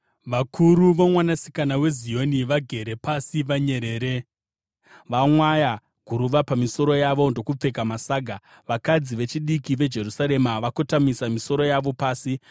Vakuru voMwanasikana weZioni vagere pasi vanyerere; vamwaya guruva pamisoro yavo ndokupfeka masaga. Vakadzi vechidiki veJerusarema vakotamisa misoro yavo pasi.